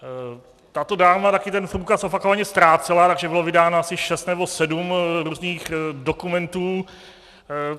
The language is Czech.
Tato dáma také ten průkaz opakovaně ztrácela, takže bylo vydáno asi šest nebo sedm různých dokumentů.